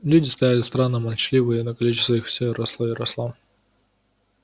люди стояли странно молчаливые но количество их всё росло и росло